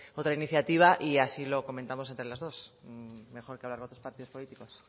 otra iniciativa y así lo comentamos entre las dos mejor que partidos políticos